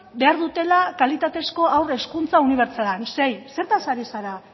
behar dutela kalitatezko haur hezkuntza unibertsala zein zertaz ari zara